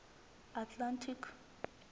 atlantic